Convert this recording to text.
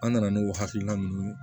An nana n'o hakilina ninnu ye